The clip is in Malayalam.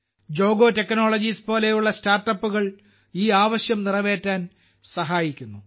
ജോഗോ ടെക്നോളജീസ്പോലുള്ള സ്റ്റാർട്ടപ്പുകൾ ഈ ആവശ്യം നിറവേറ്റാൻ സഹായിക്കുന്നു